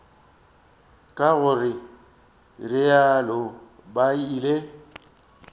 ka go realo ba ile